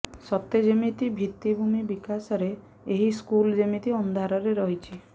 ସତେ ଯେମିତି ଭିତ୍ତିଭୂମି ବିକାଶରେ ଏହି ସ୍କୁଲ ଯେମିତି ଅନ୍ଧାରରେ ରହିଛି